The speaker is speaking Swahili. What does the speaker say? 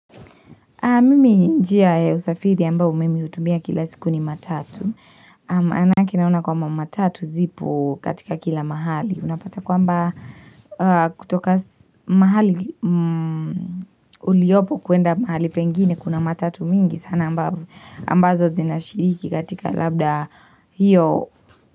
Mimi njia ya usafiri ambao mimi hutumia kila siku ni matatu. Anake naona kwamba matatu zipo katika kila mahali. Unapata kwamba kutoka mahali uliopo kwenda mahali pengine kuna matatu mingi. Sana ambazo zinashiriki katika labda hiyo.